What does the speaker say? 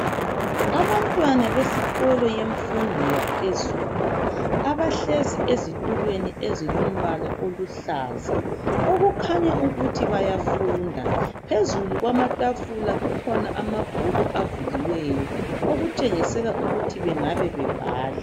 Abantwana besikolo yemfundo yaphezulu abahlezi ezitulweni ezilombala oluhlaza okukhanya ukuthi bayafunda phezulu kwamatafula kukhona amabhuku avuliweyo okutshengisela ukuthi bengabe bebhala.